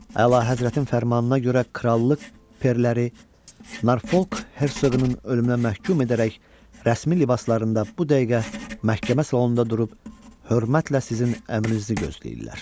Əlahəzrətin fərmanına görə krallıq perlər, Narfolq Hersoqunun ölümünə məhkum edərək rəsmi libaslarında bu dəqiqə məhkəmə salonunda durub hörmətlə sizin əmrinizi gözləyirlər.